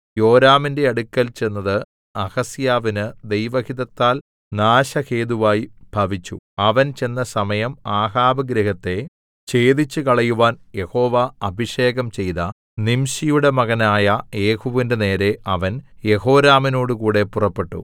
യോരാമിന്റെ അടുക്കൽ ചെന്നത് അഹസ്യാവിന് ദൈവഹിതത്താൽ നാശഹേതുവായി ഭവിച്ചു അവൻ ചെന്ന സമയം ആഹാബ് ഗൃഹത്തെ ഛേദിച്ചുകളയുവാൻ യഹോവ അഭിഷേകം ചെയ്ത നിംശിയുടെ മകനായ യേഹൂവിന്റെ നേരെ അവൻ യെഹോരാമിനോടുകൂടെ പുറപ്പെട്ടു